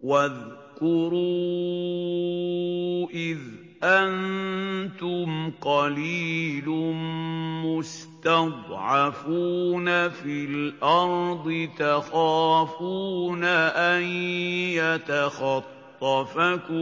وَاذْكُرُوا إِذْ أَنتُمْ قَلِيلٌ مُّسْتَضْعَفُونَ فِي الْأَرْضِ تَخَافُونَ أَن يَتَخَطَّفَكُمُ